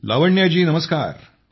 लावण्या जी नमस्कार